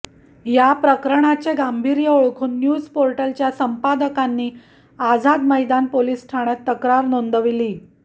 याप्रकरणाचे गांभीर्य ओळखून न्यूज पोर्टलच्या संपादकांनी आझाद मैदान पोलिस ठाण्यात तक्रार नोंदवली